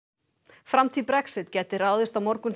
framtíð Brexit gæti ráðist á morgun þegar